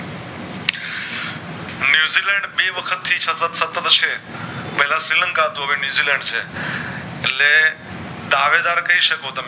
બે વખત થી સતત સતત છે પેલા શ્રીલંકા હતું હવે ન્યૂઝીલેન્ડ છે એટલે દાવેદાર કે શકો